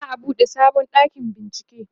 za'a buɗe sabon ɗakin bincieke